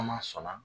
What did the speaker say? Kuma sɔnna